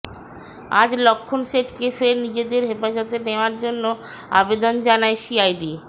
আজ লক্ষ্ণণ শেঠকে ফের নিজেদের হেফাজতে নেওয়ার জন্য আবেদন জানায় সিআইডি